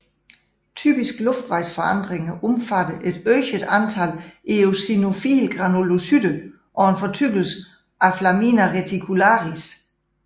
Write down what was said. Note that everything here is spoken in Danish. Typiske luftvejsforandringer omfatter et øget antal eosinofile granulocytter og en fortykkelse aflamina reticularis